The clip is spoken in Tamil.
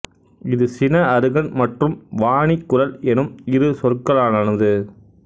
இது சின அருகன் மற்றும் வாணி குரல் எனும் இரு சொற்களாலானது